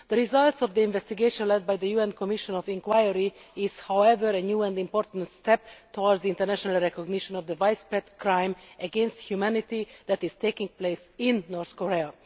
The results of the investigation led by the UN Commission of Inquiry is, however, a new and important step towards the international recognition of the widespread crime against humanity that is taking place in North Korea.